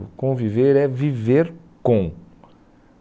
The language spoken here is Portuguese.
O conviver é viver com